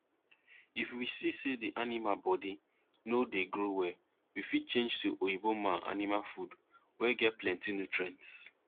if we see say the the animal body no dey grow well we fit change to oyinbo man animal food wey get plenti nutrients